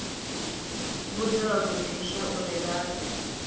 vhudze vhagudiswa uri vha fhe